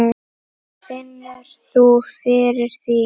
Hugrún: Finnur þú fyrir því?